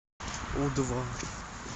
у два